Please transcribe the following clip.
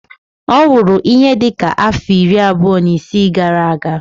Ọ nwụrụ ihe dị ka afọ iri abụọ na isii gara-aga.